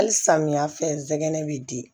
Hali samiya fɛ zɛgɛnɛ bɛ di